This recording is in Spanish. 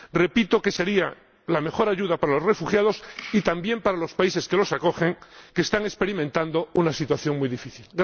Repito que sería la mejor ayuda para los refugiados y también para los países que los acogen, que están experimentando una situación muy difícil.